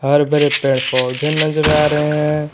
बड़े बड़े पेड़ पौधे नजर आ रहे हैं।